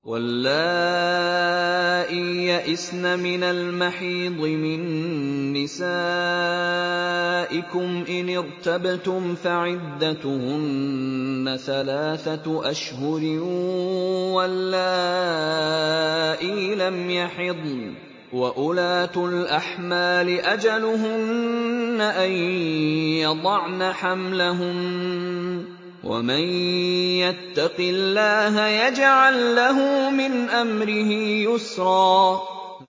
وَاللَّائِي يَئِسْنَ مِنَ الْمَحِيضِ مِن نِّسَائِكُمْ إِنِ ارْتَبْتُمْ فَعِدَّتُهُنَّ ثَلَاثَةُ أَشْهُرٍ وَاللَّائِي لَمْ يَحِضْنَ ۚ وَأُولَاتُ الْأَحْمَالِ أَجَلُهُنَّ أَن يَضَعْنَ حَمْلَهُنَّ ۚ وَمَن يَتَّقِ اللَّهَ يَجْعَل لَّهُ مِنْ أَمْرِهِ يُسْرًا